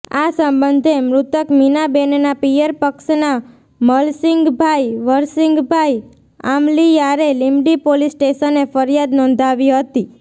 આ સંબંધે મૃતક મીનાબેનના પિયર પક્ષના મલસીંગભાઇ વરસીંગભાઇ આમલીયારે લીમડી પોલીસ સ્ટેશને ફરિયાદ નોંધાવી હતી